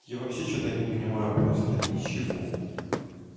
я вообще что-то не понимаю просто ничего